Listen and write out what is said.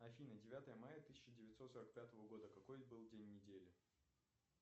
афина девятое мая тысяча девятьсот сорок пятого года какой был день недели